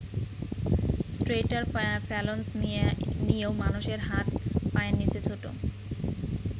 স্ট্রেইটার phalanges নিয়েও মানুষের হাত পায়ের চেয়ে ছোট